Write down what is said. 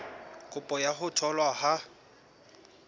kopo ya ho tholwa ha